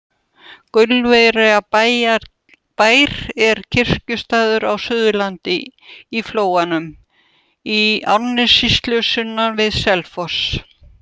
Gaulverjabær er kirkjustaður á Suðurlandi, í Flóanum í Árnessýslu sunnan við Selfoss.